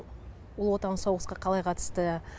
ұлы отан соғысқа қалай қатысты